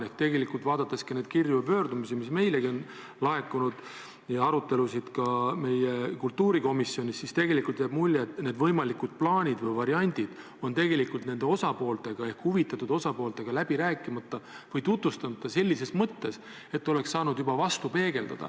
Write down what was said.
Ehk tegelikult, vaadates neid kirju ja pöördumisi, mis on meilegi laekunud, ja ka arutelusid meie kultuurikomisjonis, jääb mulje, et võimalikud plaanid või variandid on huvitatud osapooltega läbi rääkimata või neile tutvustamata sellises mõttes, et nad oleks saanud midagi vastu peegeldada.